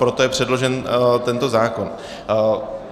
Proto je předložen tento zákon.